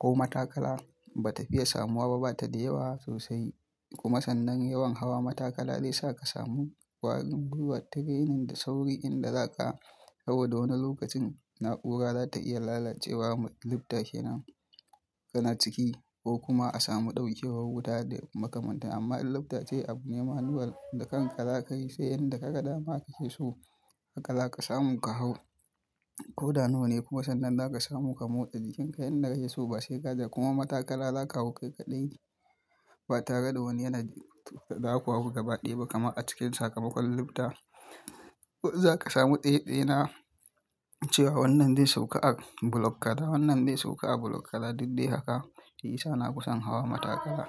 ko matakala ba ta fiye samuwa ba, bata da yawa sosai kuma sannan yawan hawa matakala zai sa ka samu kwarin gwuiwar training da sauri in da zaka, saboda wani lokacin na'ura za ta iya lalacewa. Lufta kenan kana ciki ko kuma a samu ɗauken wuta da makamanta. Amma in luftace abu ne manual, da kanka za ka yi, sai inda ka ga dama ka ce so haka za ka samu ka hau ko da nawa ne kuma sannan za ka samu ka motsa jikin ka. Inda ka ce so ba sai gaje kuma matakala za ka hau kai ƙaɗai ba tare da wani yana zaku hau gaba ɗaya ba. Kuma a cikin sakamakon lufta, za ka samu ɗeɗe na cewa wannan zai sauka a bulok kaza, wannan zai sauka a bulok kaza, duk dai haka. Shiyasa na fi san hawa matakala.